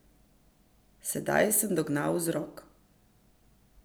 Sedaj sem dognal vzrok.